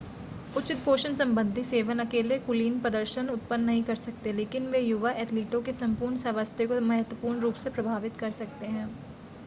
उचित पोषण संबंधी सेवन अकेले कुलीन प्रदर्शन उत्पन्न नहीं कर सकते लेकिन वे युवा एथलीटों के संपूर्ण स्वास्थ्य को महत्वपूर्ण रूप से प्रभावित कर सकते हैं